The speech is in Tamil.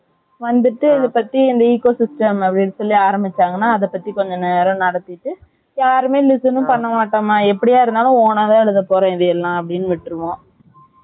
வந்துட்டு இப்ப Eco System னு சொல்லி ஆரம்பிச்சாங்கனா அத பத்தி கொஞ்சம் நேரம் நடத்திட்டு யாருமே listen னே பண்ணமாட்டாங்க எப்படியா இருந்தாலும் own ஆ தான் எழுத போரோம் இதெல்லாம்னு விட்டுருவோம்